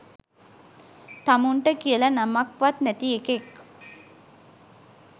තමුන්ට කියලා නමක් වත් නැති එකෙක්